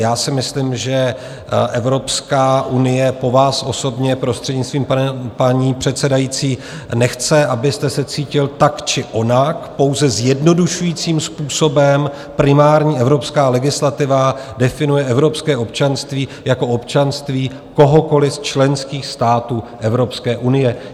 Já si myslím, že Evropská unie po vás osobně, prostřednictvím paní předsedající, nechce, abyste se cítil tak či onak, pouze zjednodušujícím způsobem primární evropská legislativa definuje evropské občanství jako občanství kohokoliv z členských států Evropské unie.